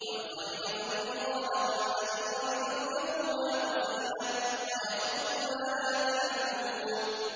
وَالْخَيْلَ وَالْبِغَالَ وَالْحَمِيرَ لِتَرْكَبُوهَا وَزِينَةً ۚ وَيَخْلُقُ مَا لَا تَعْلَمُونَ